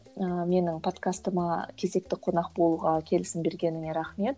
ыыы менің подкастыма кезекті қонақ болуға келісім бергеніңе рахмет